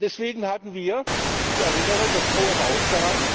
Deswegen hatten wir ich erinnere das Hohe Haus daran